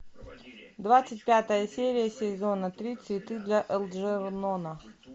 двадцать пятая серия сезона три цветы для элджернона